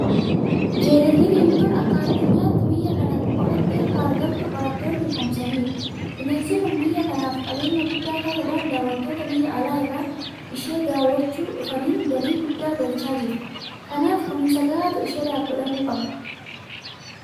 Jeedalli diimtuun akka addunyaatti biyya kana qofatti akka argamtu qorattoonni ifoomsaniiru. Bineensi kun biyya kanaaf qabeenya guddaa ta'uudhaan daawwattoota biyya alaa irraa ishee daawwachuu dhufaniin galii guddaa galchaa jirti. Kanaaf kunuunsa gahaatu isheedhaaf godhamuu qaba.